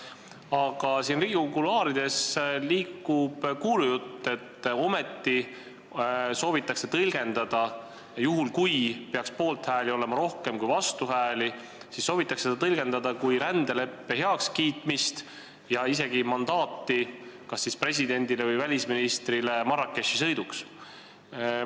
Aga siin Riigikogu kuluaarides liigub kuulujutt, et juhul kui poolthääli peaks olema rohkem kui vastuhääli, siis soovitakse seda ometi tõlgendada kui rändeleppe heakskiitmist ja isegi mandaati kas presidendile või välisministrile Marrakechi sõiduks.